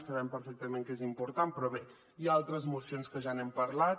sabem perfectament que és important però bé hi ha altres mocions que ja n’hem parlat